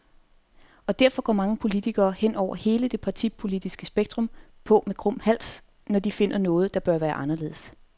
Og derfor går mange politikere, hen over hele det partipolitiske spektrum, på med krum hals, når de finder noget, der bør være anderledes.